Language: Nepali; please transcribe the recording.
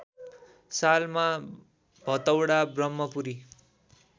सालमा भतौडा ब्रम्हपुरी